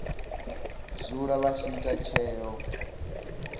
dzula vha tshi ita tsheo